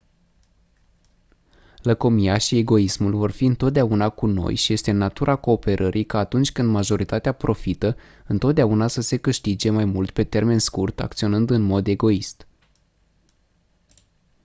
lăcomia și egoismul vor fi întotdeauna cu noi și este în natura cooperării ca atunci când majoritatea profită întotdeauna să se câștige mai mult pe termen scurt acționând în mod egoist